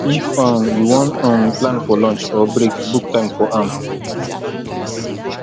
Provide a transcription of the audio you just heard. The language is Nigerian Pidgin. if um you won um plan for launch or break book time for am